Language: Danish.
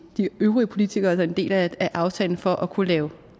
øvrige politikere der er en del af af aftalen fra at kunne lave